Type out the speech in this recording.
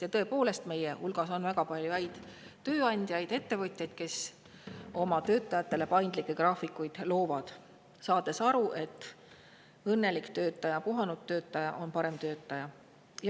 Ja tõepoolest, meie hulgas on väga palju häid tööandjaid, ettevõtjaid, kes oma töötajatele paindlikke graafikuid loovad, saades aru, et õnnelik ja puhanud töötaja on parem töötaja.